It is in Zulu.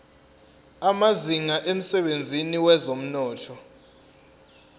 amazinga emsebenzini wezomnotho